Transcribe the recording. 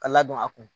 Ka ladon a kun